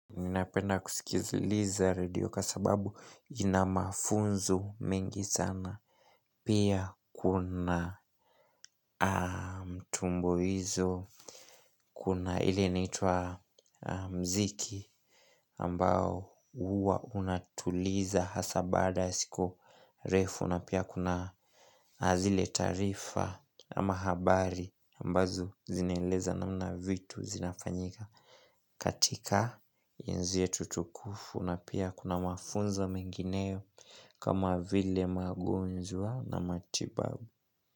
Ninapenda kusikiziliza radio kwa sababu ina mafunzo mengi sana Pia kuna mtumboizo Kuna ile inaitwa mziki ambao huwa unatuliza hasa baada ya siku refu na pia kuna zile taarifa ama habari ambazo zinaeleza namna vitu zinafanyika katika enzi yetu tukufu na pia kuna mafunzo mengineo kama vile magonjwa na matibabu.